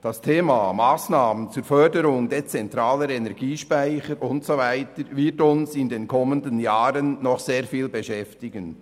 Das Thema Massnahmen zur Förderung dezentraler Energiespeicher und so weiter wird uns in den kommenden Jahren noch sehr oft beschäftigen.